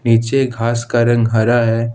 नीचे घास का रंग हरा है।